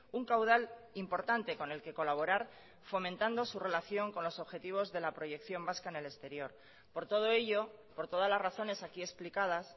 un caudal importante con el que colaborar fomentando su relación con los objetivos de la proyección vasca en el exterior por todo ello por todas las razones aquí explicadas